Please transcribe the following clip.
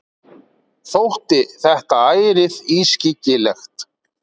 Þótti þetta ærið ískyggilegt.